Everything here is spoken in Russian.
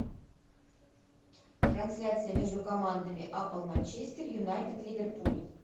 трансляция между командами апл манчестер юнайтед ливерпуль